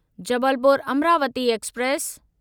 Jabalpur Amravati express